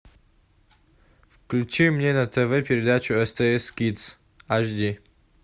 включи мне на тв передачу стс кидс аш ди